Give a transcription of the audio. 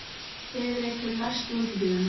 Heiðrekur, læstu útidyrunum.